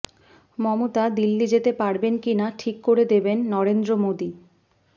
মমতা দিল্লি যেতে পারবেন কিনা ঠিক করে দেবেন নরেন্দ্র মোদী